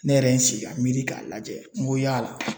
Ne yɛrɛ ye n sigi ka miiri k'a lajɛ n ko yala